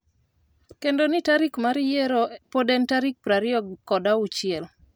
kendo ni tarik mar yiero pod en tarik piero ariyo kod auchiel